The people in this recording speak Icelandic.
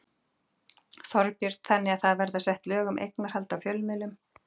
Þorbjörn: Þannig það verða sett lög um eignarhald á fjölmiðlum?